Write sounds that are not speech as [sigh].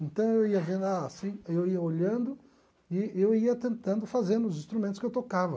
Então eu [unintelligible] assim eu ia olhando e eu ia tentando fazer nos instrumentos que eu tocava.